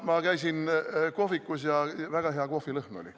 Ma käisin kohvikus ja väga hea kohvilõhn oli.